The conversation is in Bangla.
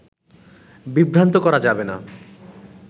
বিভ্রান্ত করা যাবে না